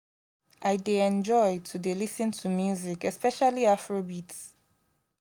i dey enjoy to dey lis ten to music especially afro beats